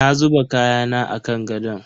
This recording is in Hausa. Na zuba kayana a kan gadon.